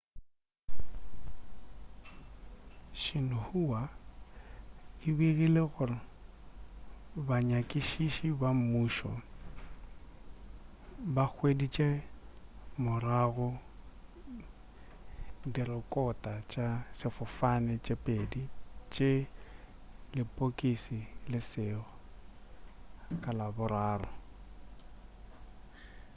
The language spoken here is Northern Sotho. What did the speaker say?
xinhua e begile gore banyakišiši ba mmušo ba hweditše morago direkota tša sefofane tše pedi tša lepokisi le leso' ka laboraro